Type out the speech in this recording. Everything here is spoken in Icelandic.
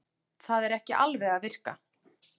Það er ekki alveg að virka